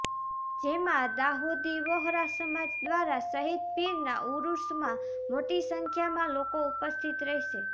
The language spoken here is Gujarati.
જેમાં દાઉદી વહોરા સમાજ દ્વારા શહીદ પીરના ઉરૂશમાં મોટી સંખ્યામાં લોકો ઉપસ્થિત રહેશે